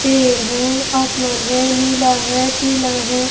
पेड़ है आसमान है नीला है पीला है.